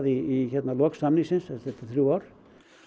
í lok samningsins eftir þrjú ár